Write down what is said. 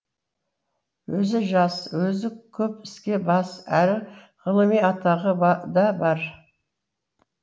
өзі жас өзі көп іске бас әрі ғылыми атағы да бар